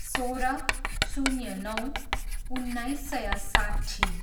सोह्र, शून्य नौ, उन्नाइस सय साट्ठी